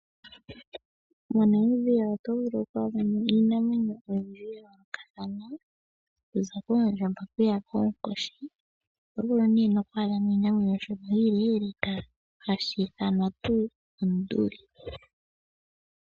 MoNamibia oto vulu kwaadhamo iinamwenyo ya yoolokathana okuza koondjamba kuya koonkoshi oto vulu wo okwaadha mo oshinanwenyo oshi leleka hashi ithanwa onduli.